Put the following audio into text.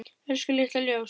Elsku litla ljós.